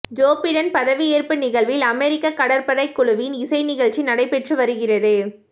Joe Biden பதவியேற்பு நிகழ்வில் அமெரிக்க கடற்படை குழுவின் இசை நிகழ்ச்சி நடைபெற்று வருகிறது